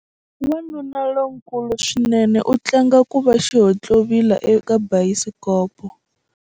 Wanuna lonkulu swinene u tlanga ku va xihontlovila eka bayisikopo.